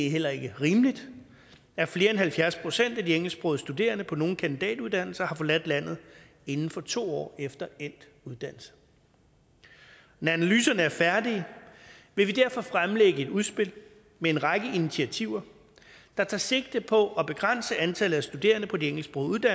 heller ikke rimeligt at flere af halvfjerds procent af de engelsksprogede studerende på nogle kandidatuddannelser har forladt landet inden for to år efter endt uddannelse når analyserne er færdige vil vi derfor fremlægge et udspil med en række initiativer der tager sigte på at begrænse antallet af studerende på de engelsksprogede